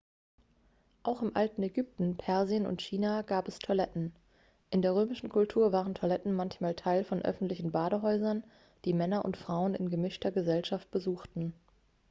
auch im alten ägypten persien und china gab es toiletten in der römischen kultur waren toiletten manchmal teil von öffentlichen badehäusern die männer und frauen in gemischter gesellschaft besuchten